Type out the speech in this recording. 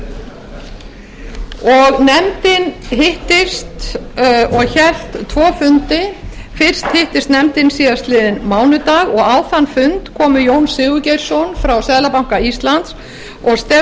nefndin hittist og hélt tvo fundi fyrst hittist nefndin síðastliðinn mánudag og á þann fund komu jón sigurgeirsson frá seðlabanka íslands